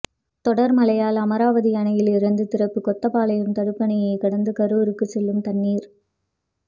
தொடர் மழையால் அமராவதி அணையிலிருந்து திறப்பு கொத்தப்பாளையம் தடுப்பணையை கடந்து கரூருக்கு செல்லும் தண்ணீர்